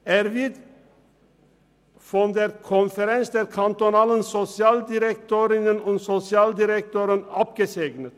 Er wird von der Konferenz der kantonalen Sozialdirektorinnen und Sozialdirektoren (SODK) abgesegnet.